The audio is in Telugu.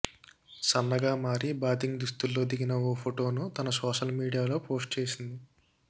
సన్నగా మారి బాతింగ్ దుస్తుల్లో దిగిన ఓ ఫోటోను తన సోషల్ మీడియాలో పోస్ట్ చేసింది